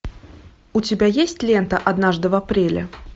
у тебя есть лента однажды в апреле